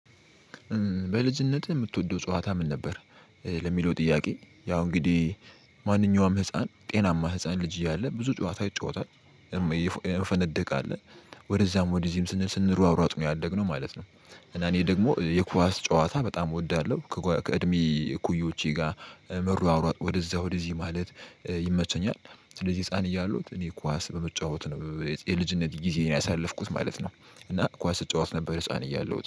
በልጅነት ምትወደው ጫወታ ምን ነበር? ለሚለው ጥያቄ ያው እንግዲህ ማንኛውም ህፃን ጤናማ ህፃን ልጅ እያለ ብዙ ጨዋታ ይጫወታል እ እንፈነድቃለን ወደዚያም ወደዚህም ሲንል ስንል ስንራራጥ ነው ያደግነው ማለት ነው። እና እኔ ደሞ የኳስ ጨዋታ በጣም እወዳለሁ ከእድሜ እኩዮቼ ጋር መሯሯጥ ወደዚያ ወደዚህ ማለት ይመቸኛል። ስለዚህ ህፃን እያለሁ እኔ ኳስ በመጫወት ነው የልጅነት ጊዜዬን ያሳለፍኩት ማለት ነው። እና ኳስ እጫወት ነበር ህፃን እያለሁት